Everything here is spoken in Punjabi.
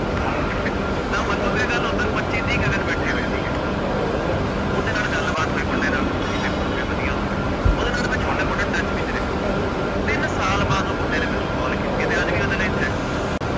ਤਾਂ ਮੰਨੋਗੇ ਗੱਲ ਉੱਧਰ ਪੱਚੀ ਤੀਹ ਗਗਨ ਬੈਠੇ ਹੋਏ ਸੀਗੇ ਉਹਦੇ ਨਾਲ ਗੱਲਬਾਤ ਹੋਈ ਮੁੰਡੇ ਨਾਲ ਵੀ ਪੇਪਰ ਹੋ ਗਿਆ ਵਧੀਆ ਹੋ ਗਿਆ, ਉਹਦੇ ਨਾਲ ਮੈਂ ਛੋਟੇ ਮੋਟਾ touch ਵਿੱਚ ਰਿਹਾ, ਤਿੰਨ ਸਾਲ ਬਾਅਦ ਉਹ ਮੁੰਡੇ ਨੇ ਮੈਨੂੰ call ਕੀਤੀ ਹੈ ਤੇ ਅੱਜ ਵੀ ਉਹਦੇ ਲਈ thankful ਹਾਂ ਮੈਂ